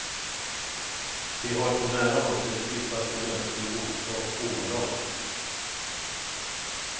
De har på nära håll sett djupaste mänsklig ondska och omoral.